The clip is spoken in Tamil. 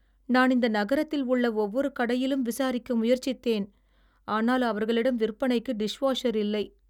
நான் இந்த நகரத்தில் உள்ள ஒவ்வொரு கடையிலும் விசாரிக்க முயற்சித்தேன், ஆனால் அவர்களிடம் விற்பனைக்கு டிஷ்வாஷர் இல்லை.